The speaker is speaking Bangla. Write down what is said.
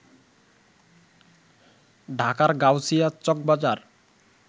ঢাকার গাউছিয়া, চকবাজার